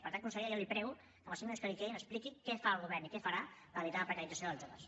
per tant consellera jo li prego que en els cinc minuts que li quedin expliqui què fa el govern i què farà per evitar la precarització dels joves